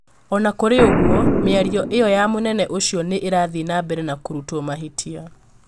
Ona kũrĩ ũgũo mĩario ĩyo ya mũnene ũcio no ĩrathie na mbere na kurũtwo mahĩtia